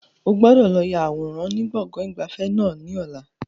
O gbọ́dọ̀ lọ ya àwòrán ni gbọ̀ngàn ìgbafẹ́ náà ni ọ̀la!